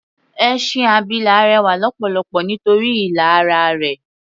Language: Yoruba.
Ẹṣin abilà rẹwà lọ́pọ̀lọpọ̀ nítorí ilà ara rẹ̀.